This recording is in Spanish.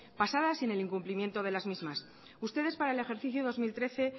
pasadas y en el incumplimiento de las mismas ustedes para el ejercicio dos mil trece